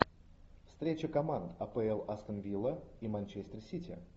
встреча команд апл астон вилла и манчестер сити